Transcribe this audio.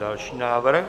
Další návrh.